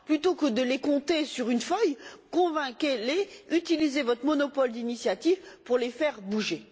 Plutôt que de les compter sur une feuille, convainquez les, utilisez votre monopole d'initiative pour les faire bouger.